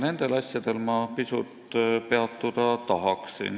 Nendel asjadel ma tahaksingi pisut peatuda.